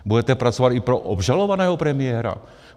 Budete pracovat i pro obžalovaného premiéra?